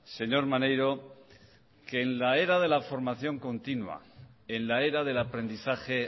señor maneiro que en la era de la formación continua en la era del aprendizaje